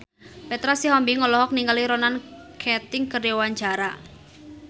Petra Sihombing olohok ningali Ronan Keating keur diwawancara